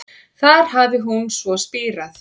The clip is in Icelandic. Þar hafi hún svo spírað